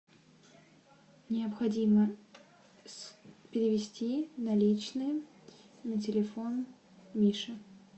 необходимо перевести наличные на телефон мише